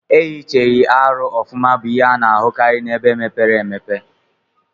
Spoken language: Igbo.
Eyichighi arụ ọfuma bu ihe ana ahukari na ebe mepere emepe.